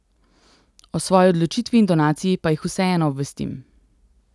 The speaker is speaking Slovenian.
O svoji odločitvi in donaciji pa jih vseeno obvestim.